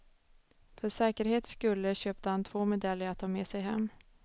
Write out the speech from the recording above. För säkerhets skulle köpte han två medaljer att ta med sig hem.